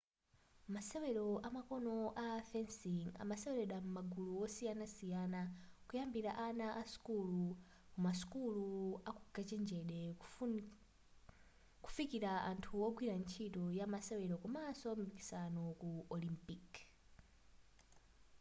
masewero amakono a fencing amaseweledwa m'magulu osiyanasiyana kuyambila ana a sukulu kumasukulu aukachenjede kufukila anthu ogwira ntchito ya masewelo komanso mipikisano ku olympic